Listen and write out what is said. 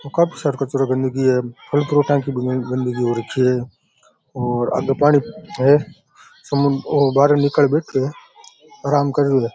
और काफी सारो कचरो गंदगी है फल फ्रूट की गन्दगी हो रखी है और आधा पानी है समु वो बहार निकल बैठे है आराम कर ररे है।